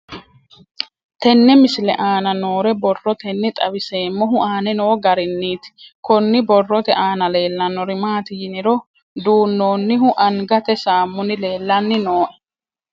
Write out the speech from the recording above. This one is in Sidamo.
Tenne misile aana noore borroteni xawiseemohu aane noo gariniiti. Kunni borrote aana leelanori maati yiniro Duunonnihu angate saamunni leelanni nooe.